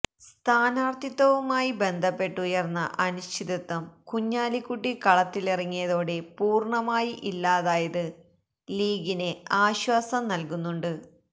സ്ഥാനാര്ഥിത്വവുമായി ബന്ധപ്പെട്ടുയര്ന്ന അനിശ്ചിതത്വം കുഞ്ഞാലിക്കുട്ടി കളത്തിലിറങ്ങിയതോടെ പൂര്ണമായി ഇല്ലാതായത് ലീഗിന് ആശ്വാസം നല്കുന്നുണ്ട്